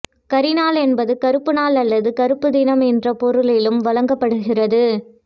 கரி நாள் என்பது கறுப்பு நாள் அல்லது கறுப்பு தினம் என்ற பொருளிலும் வழங்கப்படுகிறது